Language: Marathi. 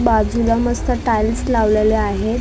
बाजूला मस्त टाईल्स लावलेले आहेत .